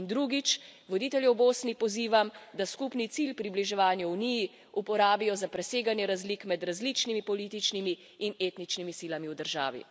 In drugič, voditelje v Bosni pozivam, da skupni cilj približevanja Uniji uporabijo za preseganje razlik med različnimi političnimi in etničnimi silami v državi.